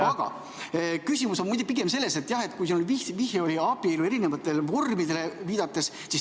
Aga küsimus on pigem selles, et vihje oli abielu eri vormide kohta.